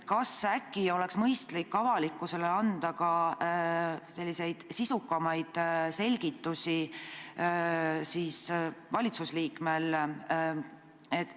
Äkki oleks mõistlik, kui avalikkusele annaks sisukamaid selgitusi ka valitsusliikmed?